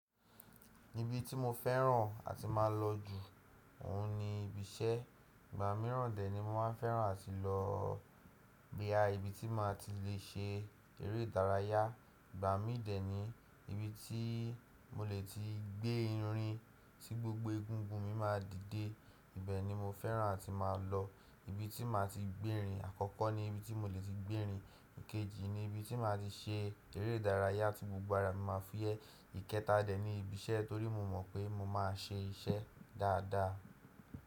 Ibi tí mo fẹ́ràn àti máa lọ jù óun ni ibi iṣẹ́. Ìgbà mìíràn dẹ̀ ni mo máa n fẹ́ràn àti lọ boya ibi tí máa ti lè ṣe eré ìdárayá. Ìgbà mii dẹ̀ ni ibi tí mo lè ti gbé irin tí gbogbo egungun mi máa dìde. Ibẹ̀ ni mo fẹ́ràn àti máa lọ. Ibi tí máa ti gbérin àkọ́kọ́ ni ibi tí mo lè ti gbérin. Ìkejì ni ibi tí máa ti ṣe eré ìdárayá tí gbogbo ara mi máa fúyẹ́. Ìkẹta dẹ̀ ni ibi iṣẹ́ torí mo mọ̀ pé mo má a ṣe iṣẹ́ dáadáa.